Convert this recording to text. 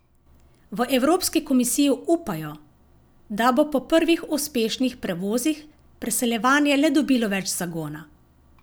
V evropski komisiji upajo, da bo po prvih uspešnih prevozih preseljevanje le dobilo več zagona.